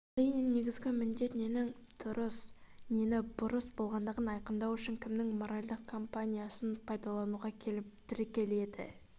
әрине негізгі міндет ненің дұрыс нені бұрыс болғандығын айқындау үшін кімнің моральдық компасын пайдалануға келіп тіреледі